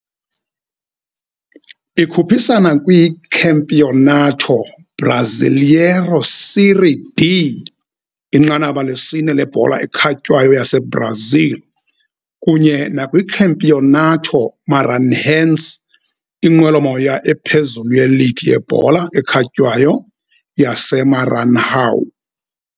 Ikhuphisana kwiCampeonato Brasileiro Série D, inqanaba lesine lebhola ekhatywayo yaseBrazil, kunye nakwiCampeonato Maranhense, inqwelomoya ephezulu yeligi yebhola ekhatywayo yaseMaranhão.